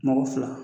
Mɔgɔ fila